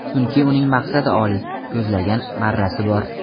Chunki uning maqsadi oliy, ko‘zlagan marrasi bor.